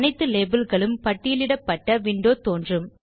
அனைத்து labelகளும் பட்டியலிடப்பட்ட விண்டோ தோன்றும்